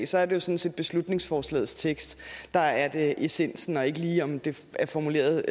sådan set beslutningsforslagets tekst der er det essentielle og ikke lige om det er formuleret